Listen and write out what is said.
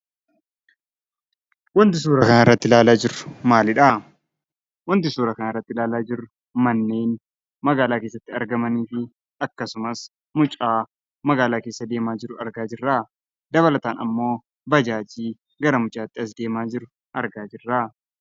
Wanti suuraa irratti ilaalaa jirru maalidhaa? Wanti suuraa kanarratti ilaalaa jirru manneen magaalaa keessatti argamanii fi akkasumas mucaa magaalaa keessa adeemaa jiru argaa jirra. Dabalataan immoo baajaajii gara mucaatti as deemaa jiru argaa jirra.